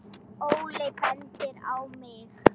Óli bendir á mig: